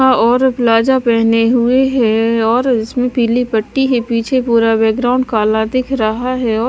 और प्लाजा पहने हुए है और इसमें पीली पट्टी है पीछे पूरा बैकग्राउंड काला दिख रहा है औ--